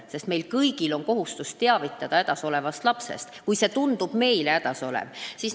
Meil kõigil on kohustus teavitada lapsest, kui ta tundub meile hädas olevat.